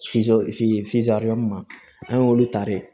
an y'olu ta de